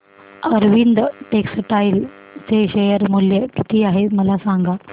Arvind textile चे share मूल्य किती आहे मला सांगा